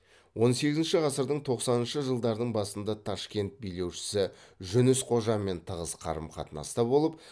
он сегізінші ғасырдың тоқсаныншы жылдардың басында ташкент билеушісі жүніс қожамен тығыз қарым қатынаста болып